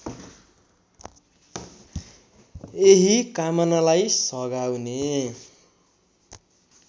यही कामनालाई सघाउने